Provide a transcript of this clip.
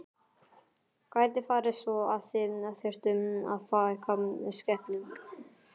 Gæti farið svo að þið þyrftuð að fækka skepnum?